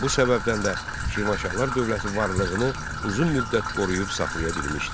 Bu səbəbdən də Şirvanşahlar dövləti varlığını uzun müddət qoruyub saxlaya bilmişdi.